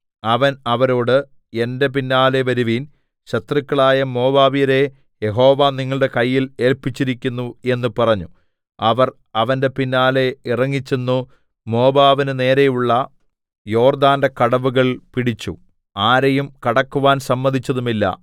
അവൻ അവരോട് എന്റെ പിന്നാലെ വരുവിൻ ശത്രുക്കളായ മോവാബ്യരെ യഹോവ നിങ്ങളുടെ കയ്യിൽ ഏല്പിച്ചിരിക്കുന്നു എന്ന് പറഞ്ഞു അവർ അവന്റെ പിന്നാലെ ഇറങ്ങിച്ചെന്നു മോവാബിന്നു നേരെയുള്ള യോർദ്ദാന്റെ കടവുകൾ പിടിച്ചു ആരെയും കടക്കുവാൻ സമ്മതിച്ചതുമില്ല